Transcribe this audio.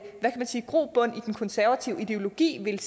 grobund i den konservative ideologi vil